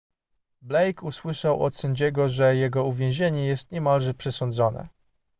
blake usłyszał od sędziego że jego uwięzienie jest niemalże przesądzone